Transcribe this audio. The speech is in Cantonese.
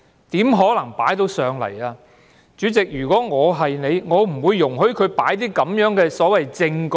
如果我是主席的話，我斷不會容許他提交他所謂的"證據"。